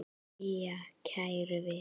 Jæja, kæru vinir.